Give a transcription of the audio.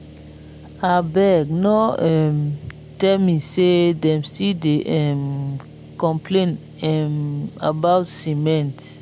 abeg no um tell me say dem still dey um complain um about cement